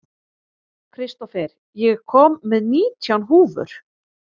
Kristófer, ég kom með nítján húfur!